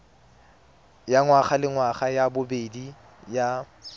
ya ngwagalengwaga ya bobedi ya